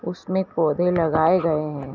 उसमें पौधे लगाए गए है।